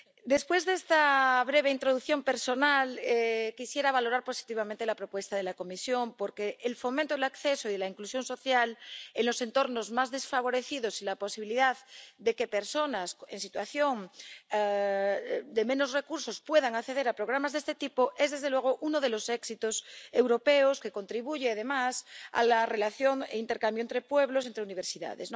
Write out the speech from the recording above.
Después de esta breve introducción personal, quisiera valorar positivamente la propuesta de la Comisión, porque el fomento del acceso y de la inclusión social en los entornos más desfavorecidos y la posibilidad de que personas con menos recursos puedan acceder a programas de este tipo es, desde luego, uno de los éxitos europeos que contribuye, además, a la relación y el intercambio entre pueblos, entre universidades.